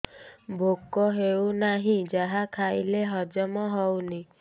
ଭୋକ ହେଉନାହିଁ ଯାହା ଖାଇଲେ ହଜମ ହଉନି